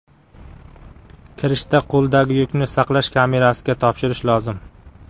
Kirishda qo‘ldagi yukni saqlash kamerasiga topshirish lozim.